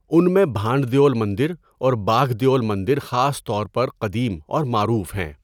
ان میں بھانڈ دیول مندر اور باگھ دیول مندر خاص طور پر قدیم اور معروف ہیں۔